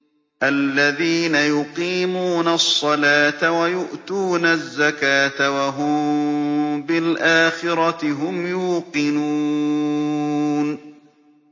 الَّذِينَ يُقِيمُونَ الصَّلَاةَ وَيُؤْتُونَ الزَّكَاةَ وَهُم بِالْآخِرَةِ هُمْ يُوقِنُونَ